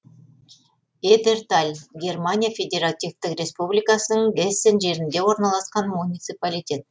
эдерталь германия федеративтік республикасының гессен жерінде орналасқан муниципалитет